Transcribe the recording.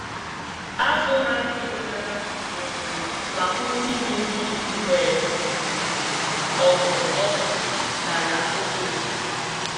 Azụ na-adị ngana um ma kwụsị iri nri mgbe ogo oxygen dara obere.